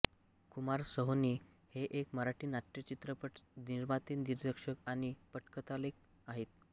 कुमार सोहोनी हे एक मराठी नाट्यचित्रपट निर्माते दिग्दर्शक आणि पटकथालेखक आहेत